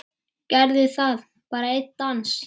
Gerðu það, bara einn dans.